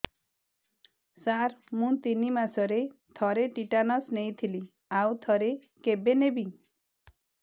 ସାର ମୁଁ ତିନି ମାସରେ ଥରେ ଟିଟାନସ ନେଇଥିଲି ଆଉ ଥରେ କେବେ ନେବି